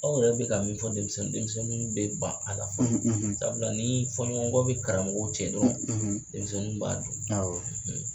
Aw yɛrɛ bɛ ka min fɔ denmisɛnnin ye denmisɛnni bɛ ban a la fɔlɔ sabula ni fɔnɲɔgɔn bɛ karamɔgɔw cɛ dɔrɔn denmisɛnnin b'a dɔn awɔ.